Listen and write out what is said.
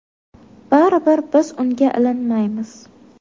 Baribir biz unga ilinmaymiz.